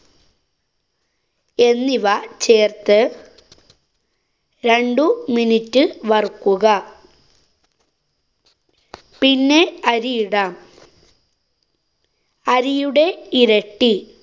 എന്നിവ ചേര്‍ത്ത് രണ്ടു minute വറുക്കുക. പിന്നെ അരിയിടാം. അരിയുടെ ഇരട്ടി